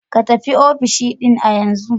Je ka ofishin Dean a yanzu!